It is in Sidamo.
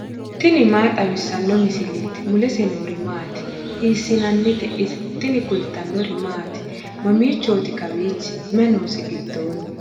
tini maa xawissanno misileeti ? mulese noori maati ? hiissinannite ise ? tini kultannori maati? Mamichooti kawiichchi? Mayi noosi gidoonni?